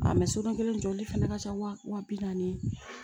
kelen jɔli fɛnɛ ka ca wa bi naani